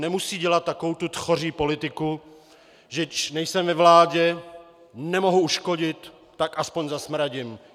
Nemusí dělat takovou tu tchoří politiku, že když nejsem ve vládě, nemohu uškodit, tak aspoň zasmradím.